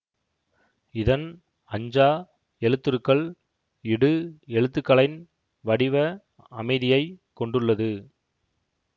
இதன் ஃஅஞ்சா எழுத்துருக்கள் இடு எழுத்துகளைன் வடிவ அமைதியை கொண்டுள்ளது